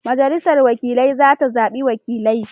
Majalisar wakilai za ta zabi wakilai.